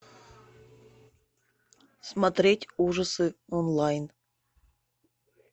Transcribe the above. смотреть ужасы онлайн